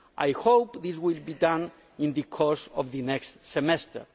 I hope this will done in the course of the next semester.